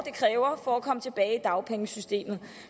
det kræver for at komme tilbage i dagpengesystemet